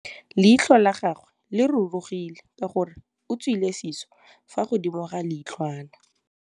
Leitlhô la gagwe le rurugile ka gore o tswile sisô fa godimo ga leitlhwana.